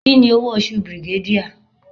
Kini owo osu brigadier?